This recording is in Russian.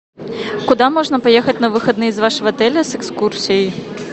куда можно поехать на выходные из вашего отеля с экскурсией